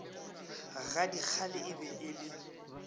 gadikgale e be e le